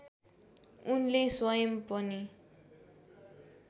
उनले स्वयं पनि